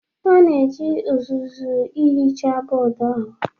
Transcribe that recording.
A na-eji uzuzu ihicha bọọdụ ahụ.